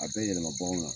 A bɛ yɛlɛma baganw kan